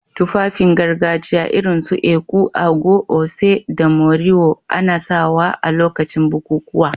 Tufafin gargajiya irin su èkú/agọ̀, oṣé, da môriwò ana sawa a lokacin bukukuwa